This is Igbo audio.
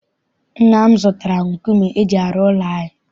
Nna m zụtara nkume eji arụ ụlọ anyị.